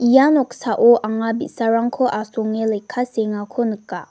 ia noksao anga bi·sarangko asonge lekka seengako nika.